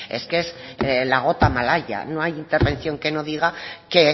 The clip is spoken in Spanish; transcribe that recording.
es que es la gota malaya no hay intervención que no diga que